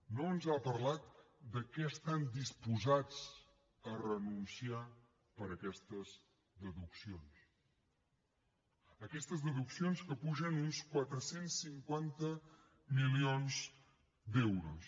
no ens ha parlat de què estan disposats a renunciar per aquestes deduccions aquestes deduccions que pugen a uns quatre cents i cinquanta milions d’euros